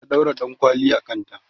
ta ɗaura ɗankwali a kanta